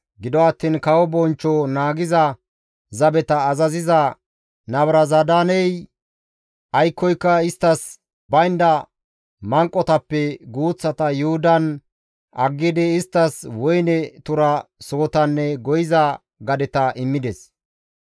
Gido attiin kawo bonchcho naagiza zabeta azaziza Nabuzaradaaney aykkoyka isttas baynda manqotappe guuththata Yuhudan aggidi, isttas woyne tura sohotanne goyiza gadeta immides.